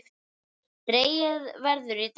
Dregið verður í dag.